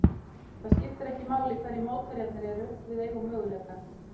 Það skiptir ekki máli hverjir mótherjarnir eru, við eigum möguleika.